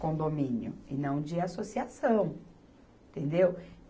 condomínio e não de associação, entendeu?